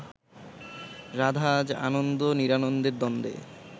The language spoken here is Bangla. রাধা আজ আনন্দ নিরানন্দের দ্বন্দ্বে